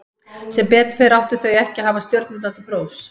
Sem betur fer áttu þau ekki að hafa stjörnurnar til prófs.